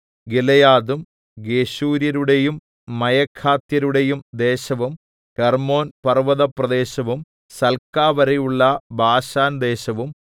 ഗിലെയാദും ഗെശൂര്യരുടെയും മയഖാത്യരുടെയും ദേശവും ഹെർമ്മോൻപർവ്വത പ്രദേശവും സൽക്കാവരെയുള്ള ബാശാൻ ദേശവും